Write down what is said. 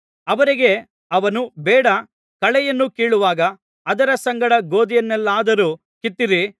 ಅವರಿಗೆ ಅವನು ಬೇಡ ಕಳೆಯನ್ನು ಕೀಳುವಾಗ ಅದರ ಸಂಗಡ ಗೋದಿಯನ್ನೆಲ್ಲಾದರೂ ಕಿತ್ತೀರಿ